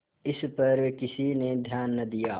इस पर किसी ने ध्यान न दिया